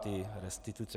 Ty restituce.